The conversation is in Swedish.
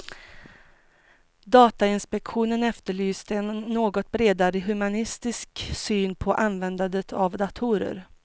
Datainspektionen efterlyste en något bredare humanistisk syn på användandet av datorer.